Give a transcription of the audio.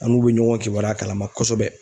An n'u be ɲɔgɔn kibaruya kalama kosɛbɛ.